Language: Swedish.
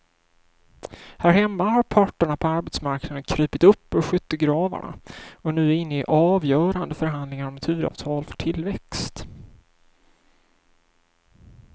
Här hemma har parterna på arbetsmarknaden krupit upp ur skyttegravarna och är nu inne i avgörande förhandlingar om ett huvudavtal för tillväxt.